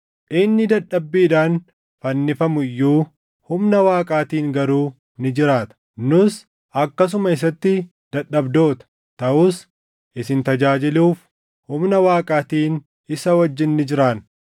Inni dadhabbiidhaan fannifamu iyyuu, humna Waaqaatiin garuu ni jiraata. Nus akkasuma isatti dadhabdoota; taʼus isin tajaajiluuf humna Waaqaatiin isa wajjin ni jiraanna.